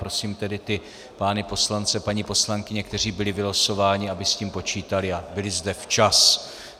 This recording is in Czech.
Prosím tedy ty pány poslance, paní poslankyně, kteří byli vylosováni, aby s tím počítali a byli zde včas.